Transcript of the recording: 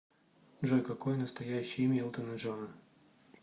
джой какое настоящее имя элтона джона